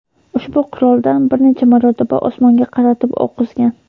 ushbu quroldan bir necha marotaba osmonga qaratib o‘q uzgan.